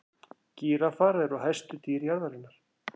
gíraffar eru hæstu dýr jarðarinnar